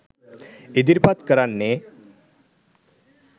ඉදිරිපත් කරන්නෙ.